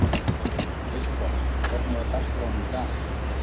Kristborg, hvernig er dagskráin í dag?